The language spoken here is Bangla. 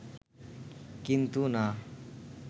কিন্তু না